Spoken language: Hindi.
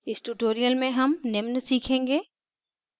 इस tutorial में हम निम्न सीखेंगे